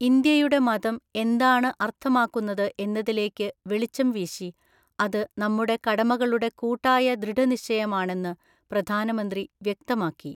ഇന്ത്യയുടെ മതം എന്താണ് അർഥമാക്കുന്നത് എന്നതിലേക്കു വെളിച്ചംവീശി, അതു നമ്മുടെ കടമകളുടെ കൂട്ടായ ദൃഢനിശ്ചയമാണെന്നു പ്രധാനമന്ത്രി വ്യക്തമാക്കി.